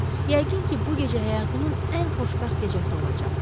Yəqin ki, bu gecə həyatımın ən xoşbəxt gecəsi olacaq.